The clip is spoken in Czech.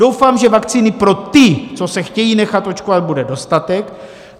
Doufám, že vakcíny pro ty, co se chtějí nechat očkovat, bude dostatek.